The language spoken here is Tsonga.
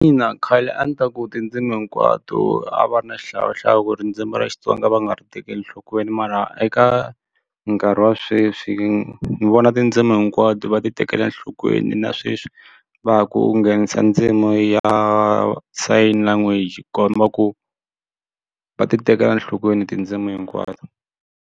Ina khale a ndzi ta ku tindzimu hinkwato a va ri na xihlawuhlawu ku rindzimi ra Xitsonga va nga ri tekeli enhlokweni mara eka nkarhi wa sweswi ndzi vona tindzimi hinkwato va ti tekela enhlokweni na sweswi va ha ku nghenisa ndzimi ya sign language komba ku va ti tekela enhlokweni tindzimi hinkwato.